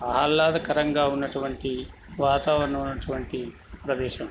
ఆహ్లాదకరంగా ఉన్నటువంటి వాతావరణం ఉన్నటువంటి ప్రదేశం.